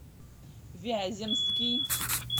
вяземский